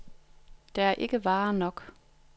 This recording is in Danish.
Der er ikke varer nok.